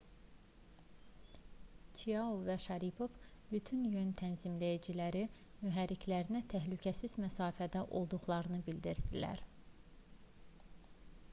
çiao və şaripov bütün yön tənzimləyiciləri mühərriklərinə təhlükəsiz məsafədə olduqlarını bildirdilər